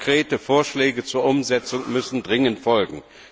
Aber konkrete Vorschläge zur Umsetzung müssen dringend folgen.